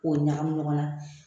O ɲagami ɲɔgɔn na.